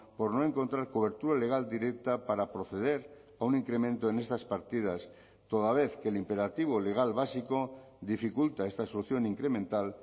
por no encontrar cobertura legal directa para proceder a un incremento en estas partidas toda vez que el imperativo legal básico dificulta esta solución incremental